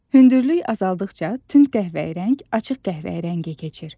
Hündürlük azaldıqca tünd qəhvəyi rəng açıq qəhvəyi rəngə keçir.